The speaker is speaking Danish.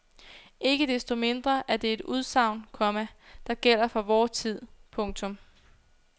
Ikke desto mindre er det et udsagn, komma der gælder for vor tid. punktum